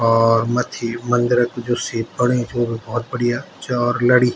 और मत्थी मंदिरक जू सीप बणी च वू भी बहौत बढ़िया च और लड़ी।